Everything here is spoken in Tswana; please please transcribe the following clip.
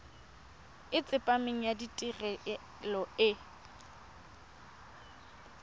e tsepameng ya tirelo e